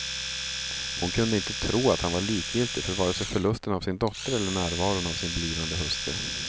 Hon kunde inte tro att han var likgiltig för vare sig förlusten av sin dotter eller närvaron av sin blivande hustru.